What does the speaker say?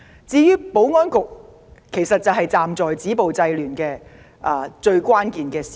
至於保安局，在止暴制亂上擔當關鍵角色。